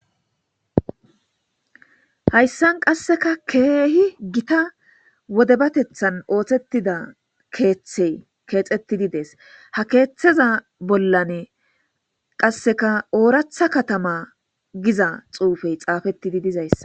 Hayssan qasseka keehi gita wodebatethan oohthetida keeththe keexettidi des ha keeththeza bollane qasseka ooratha katama giza xuufey xaafettidi dizayssa